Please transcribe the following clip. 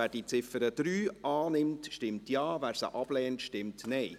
Wer die Ziffer 3 annimmt, stimmt Ja, wer diese ablehnt, stimmt Nein.